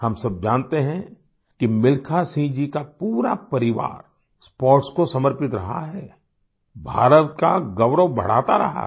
हम सब जानते हैं कि मिल्खा सिंह जी का पूरा परिवार स्पोर्ट्स को समर्पित रहा है भारत का गौरव बढ़ाता रहा है